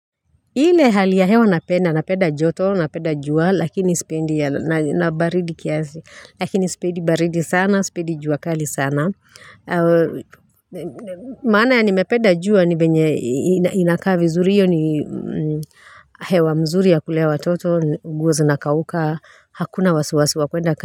Ile hali ya hewa napenda, napenda joto, napenda jua, lakini spendi baridi sana, spendi jua kali sana. Maana ya nimependa jua ni venye inaka vizuri iyo ni hewa mzuri ya kulea watoto, nguo zina kauka, hakuna wasiwasi wa kwenda.